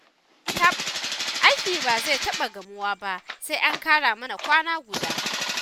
Taɓ! Aikin ba zai taɓa gamuwa ba, sai an ƙara mana kwana guda